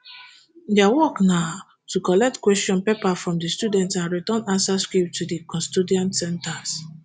dia work na to collect question papers from di students and return answer scripts to di custodian centres